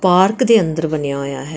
Park ਦੇ ਅੰਦਰ ਬਣਿਆ ਹੋਇਆ ਹੈ।